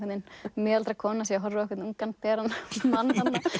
miðaldra kona sé að horfa á ungan beran mann